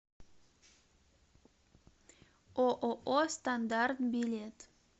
ооо стандарт билет